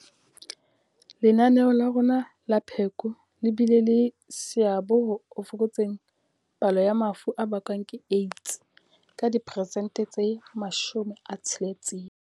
Lenaneo la rona la pheko le bile le seabo ho fokotseng palo ya mafu a bakwang ke AIDS ka diperesente tse 60.